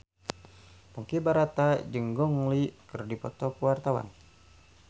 Ponky Brata jeung Gong Li keur dipoto ku wartawan